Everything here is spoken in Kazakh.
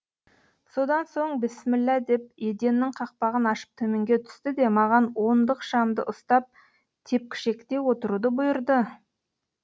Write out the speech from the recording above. содан соң бісміллә деп еденнің қақпағын ашып төменге түсті де маған ондық шамды ұстап тепкішекте отыруды бұйырды